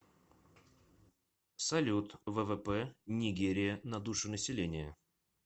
салют ввп нигерия на душу населения